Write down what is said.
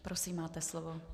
Prosím, máte slovo.